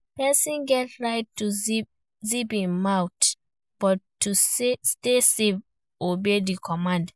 Persin get right to zip im mouth but to stay safe obey their command